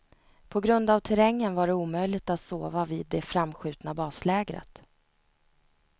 På grund av terrängen var det omöjligt att sova vid det framskjutna baslägret.